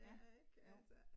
Ja, jo